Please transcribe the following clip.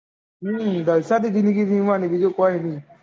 હમ જલસા થી જીવી જિંદગી બીજી કઈ નાય